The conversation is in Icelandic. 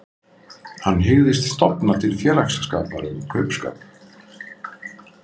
Hann hygðist stofna til félagsskapar um kaupskap.